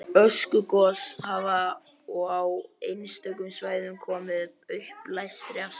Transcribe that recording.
Öskugos hafa og á einstökum svæðum komið uppblæstri af stað.